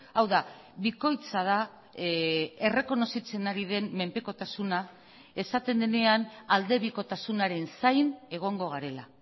hau da bikoitza da errekonozitzen ari den menpekotasuna esaten denean aldebikotasunaren zain egongo garela